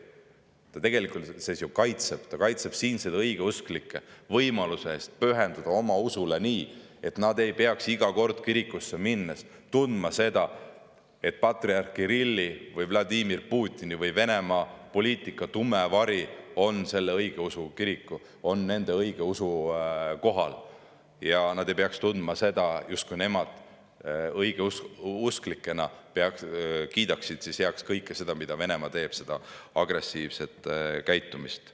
Ta tegelikult kaitseb siinseid õigeusklikke, võimaluse pühenduda oma usule nii, et nad ei peaks iga kord kirikusse minnes tundma, et patriarh Kirilli või Vladimir Putini või Venemaa poliitika tume vari on selle õigeusu kiriku ja nende õigeusu kohal, ning nad ei peaks tundma, justkui nemad õigeusklikena kiidaksid heaks kõike seda, mida Venemaa teeb, seda agressiivset käitumist.